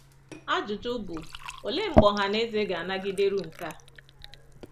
Ajụjụ bụ, olee mgbe ọha na eze ga-anagideru nke a?